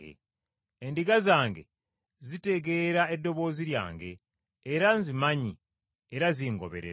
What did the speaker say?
Endiga zange zitegeera eddoboozi lyange, era nzimanyi era zingoberera.